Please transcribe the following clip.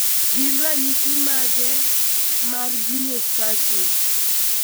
Gin ranyisi mag e mar Geniospasm?